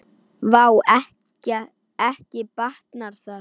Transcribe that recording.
Vá, ekki batnar það!